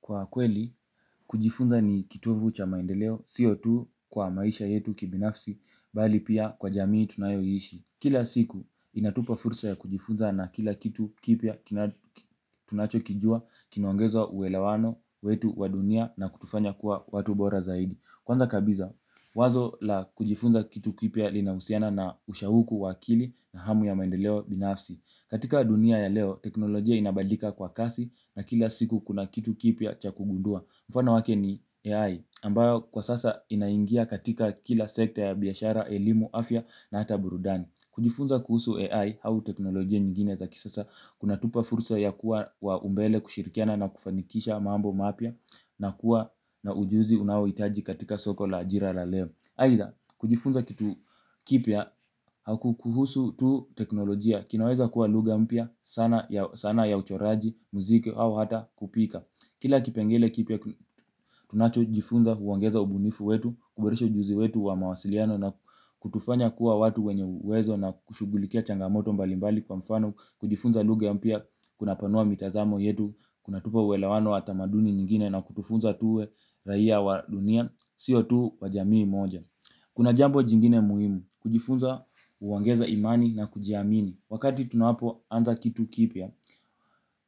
Kwa kweli, kujifunza ni kitovu cha maendeleo, sio tu kwa maisha yetu kibinafsi, bali pia kwa jamii tunayoiishi. Kila siku, inatupa fursa ya kujifunza na kila kitu kipya tunacho kijua kinaongeza uwelewano wetu wa dunia na kutufanya kuwa watu bora zaidi. Kwanza kabiza, wazo la kujifunza kitu kipya linahusiana na ushauku wa akili na hamu ya maendeleo binafsi. Katika dunia ya leo teknolojia inabadilika kwa kasi na kila siku kuna kitu kipya cha kugundua. Mfano wake ni AI ambayo kwa sasa inaingia katika kila sekta ya biashara, elimu, afya na hata burudani. Kujifunza kuhusu AI hau teknolojia nyingine za kisasa kuna tupa fursa ya kuwa wa umbele kushirikiana na kufanikisha mambo mapya. Na kuwa na ujuzi unaoitaji katika soko la ajira la leo. Aitha kujifunza kitu kipya haku kuhusu tu teknolojia kinaweza kuwa lugha mpya sana sanaa ya uchoraji muzike au hata kupika. Kila kipengele kipya tunacho jifunza huongeza ubunifu wetu kuboresha ujuzi wetu wa mawasiliano na kutufanya kuwa watu wenye uwezo na kushughulikia changamoto mbalimbali kwa mfano kujifunza lugha mpya kuna panua mitazamo yetu kuna tupa uwelewano wa tamaduni nyingine na kutufunza tuwe raia wa dunia sio tu wa jamii moja. Kuna jambo jingine muhimu, kujifunza huongeza imani na kujiamini. Wakati tunapo anza kitu kipya,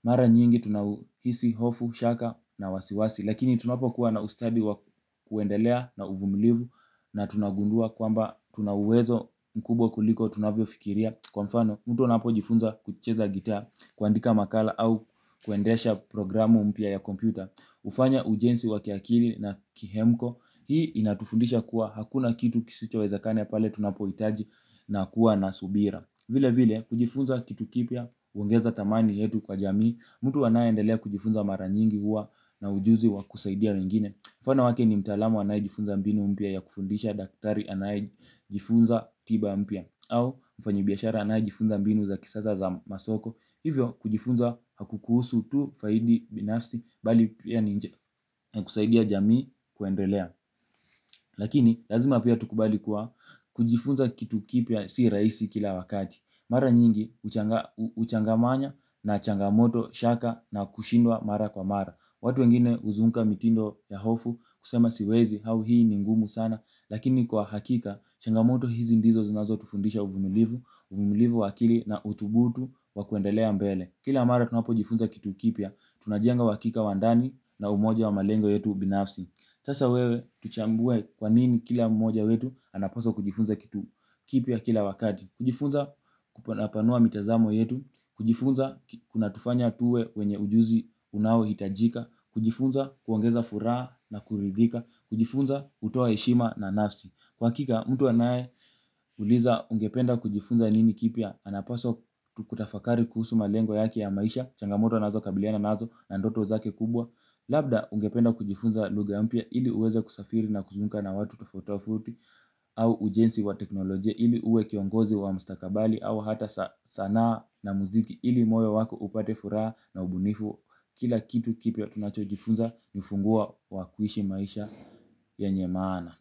mara nyingi tunahisi hofu, shaka na wasiwasi, lakini tunapo kuwa na ustadi wa kuendelea na uvumilivu na tunagundua kwamba tunauwezo mkubwa kuliko tunavyo fikiria kwa mfano mtu anapojifunza kucheza gitaa, kuandika makala au kuendesha programu mpya ya kompyuta hufanya ujenzi wa kiakili na kihemko hii inatufundisha kuwa hakuna kitu kisichowezekana pale tunapohitaji na kuwa na subira. Vile vile kujifunza kitu kipya huongeza thamani yetu kwa jamii. Mtu anayeendelea kujifunza mara nyingi huwa na ujuzi wa kusaidia wengine mfano wake ni mtaalamu anayejifunza mbinu mpya ya kufundisha daktari anayejifunza tiba mpya au mfanyi biashara anayejifunza mbinu za kisasa za masoko hivyo kujifunza hakukuhusu tu faidi binafsi bali pia ni njia kusaidia jamii kuendelea lakini lazima pia tukubali kuwa kujifunza kitu kipya si rahisi kila wakati mara nyingi uchanga manya na changamoto shaka na kushindwa mara kwa mara watu wengine uzunguka mitindo ya hofu kusema siwezi hau hii ni ngumu sana lakini kwa hakika changamoto hizi ndizo zinazo tufundisha uvumilivu. Uvumilivu wa akili na utubutu wakuendelea mbele. Kila mara tunapo jifunza kitu kipya tunajenga uhakika wa ndani na umoja wa malengo yetu binafsi sasa tuchambue kwa nini kila mmoja wetu anapaswa kujifunza kitu kipya kila wakati kujifunza kuna panua mitazamo yetu. Kujifunza kuna tufanya tuwe wenye ujuzi unaohitajika. Kujifunza huongeza furaha na kuridhika. Kujifunza hutoa eshima na nafsi. Kwa hakika mtu anaye uliza ungependa kujifunza nini kipya. Anapaswa kutafakari kuhusu malengo yake ya maisha. Changamoto anazo kabiliana nazo na ndoto zake kubwa. Labda ungependa kujifunza luga mpya ili uweze kusafiri na kuzunguka na watu tofauti tofauti. Au ujensi wa teknolojia ili uwe kiongozi wa mstakabali. Au hata sanaa na muziki ili moyo wako upate furaha na ubunifu. Kila kitu kipya tunacho jifunza ni funguo wa kuishi maisha yenye maana.